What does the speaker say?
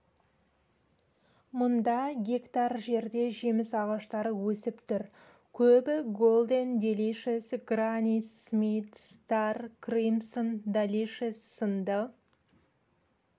мұнда гектар жерде жеміс ағаштары өсіп тұр көбі голден делишес грани смит стар кримсон далишес сынды